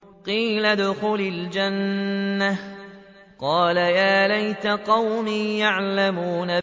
قِيلَ ادْخُلِ الْجَنَّةَ ۖ قَالَ يَا لَيْتَ قَوْمِي يَعْلَمُونَ